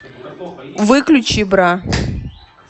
выключи бра